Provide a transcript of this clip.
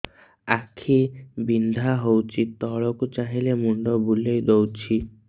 ଆଖି ବିନ୍ଧା ହଉଚି ତଳକୁ ଚାହିଁଲେ ମୁଣ୍ଡ ବୁଲେଇ ଦଉଛି